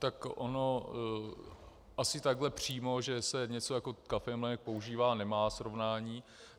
Tak ono asi takhle přímo, že se něco jako kafemlejnek používá, nemá srovnání.